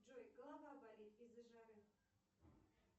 джой голова болит из за жары